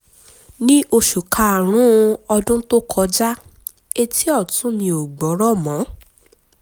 ní oṣù kárùn-ún ọdún tó kọjá etí ọ̀tún mi ò gbọ́rọ̀ mọ́